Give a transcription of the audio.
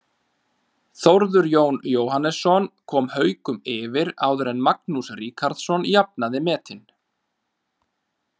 Þórður Jón Jóhannesson kom Haukum yfir áður en Magnús Ríkharðsson jafnaði metin.